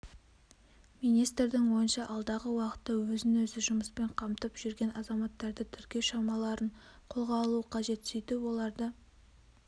министрдің ойынша алдағы уақытта өзін-өзі жұмыспен қамтып жүрген азаматтарды тіркеу шараларын қолға алу қажет сөйтіп оларды